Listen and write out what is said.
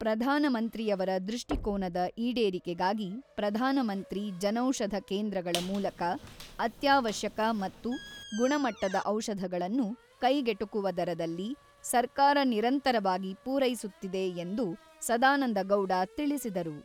ಪ್ರಧಾನಮಂತ್ರಿಯವರ ದೃಷ್ಟಿಕೋನದ ಈಡೇರಿಕೆಗಾಗಿ ಪ್ರಧಾನಮಂತ್ರಿ ಜನೌಷಧ ಕೇಂದ್ರಗಳ ಮೂಲಕ ಅತ್ಯಾವಶ್ಯಕ ಮತ್ತು ಗುಣಮಟ್ಟದ ಔಷಧಗಳನ್ನು ಕೈಗೆಟಕುವ ದರದಲ್ಲಿ ಸರ್ಕಾರ ನಿರಂತರವಾಗಿ ಪೂರೈಸುತ್ತಿದೆ ಎಂದು ಸದಾನಂದ ಗೌಡ ತಿಳಿಸಿದರು.